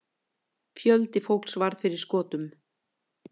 Fjöldi fólks varð fyrir skotum.